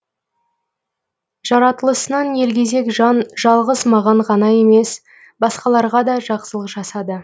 жаратылысынан елгезек жан жалғыз маған ғана емес басқаларға да жақсылық жасады